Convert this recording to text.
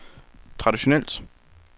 traditionelt